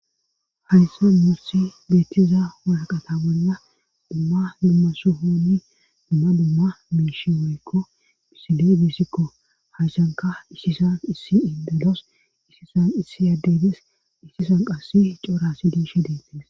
Hayssan morsi beettiza walaqata wolla dumma mummaso hooni dumma dumma miishi woykko misile bissikko hayshanka isisan issi iddalos isisan issi addedes issisan qassi coorasi diishe deetties